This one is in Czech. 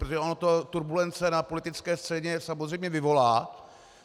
Protože ono to turbulence na politické scéně samozřejmě vyvolá.